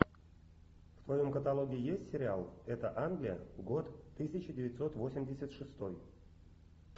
в твоем каталоге есть сериал это англия год тысяча девятьсот восемьдесят шестой